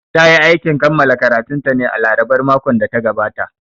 Ta yi aikin kammala karatunta ne a larabar makon da ya gabata